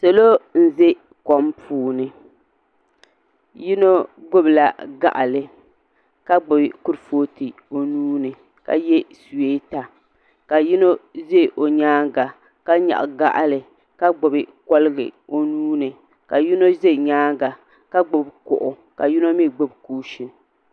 Salo m be kom puuni yino gbibila gaɣali ka gbibi kutufootu o nuuni ka ye suweta ka yino ʒɛ o nyaanga ka nyaɣi gaɣali ka gbibi koligu o nuuni ka yino ʒɛ nyaanga ka gbibi kuɣu ka yimo mee gbibi kuushini.